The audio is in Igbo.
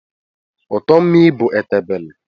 Ụtọ mmii bụ etebele